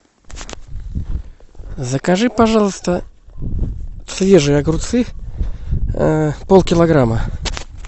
закажи пожалуйста свежие огурцы пол килограмма